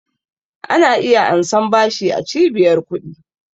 Ana iya ansan bashi a cibiyar ƙudi